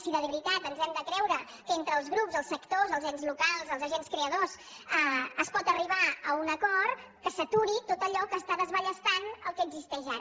si de veritat ens hem de creure que entre els grups els sectors els ens locals els agents creadors es pot arribar a un acord que s’aturi tot allò que està desballestant el que existeix ara